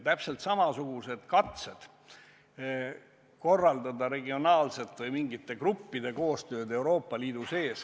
Täpselt samasugused on olnud katsed korraldada regionaalselt või mingite gruppide koostööd Euroopa Liidu sees.